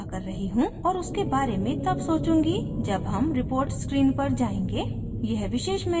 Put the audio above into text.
अभी मैं इसको अनदेखा कर रही हूँ और उसके बारे में तब सोचूंगी जब हम reports screen पर जायेंगे